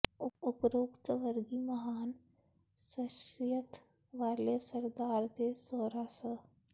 ਉਪਰੋਕਤ ਸਵਰਗੀ ਮਹਾਨ ਸ਼ਖਸੀਅਤ ਵਾਲੇ ਸਰਦਾਰ ਦੇ ਸਹੁਰਾ ਸ